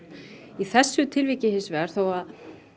í þessu tilviki hins vegar þó að